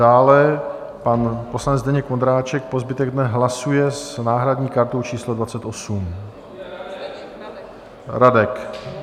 Dále pan poslanec Zdeněk Vondráček po zbytek dne hlasuje s náhradní kartou číslo 28. Radek.